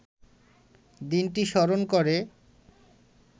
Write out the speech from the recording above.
দিনটি স্মরণ করে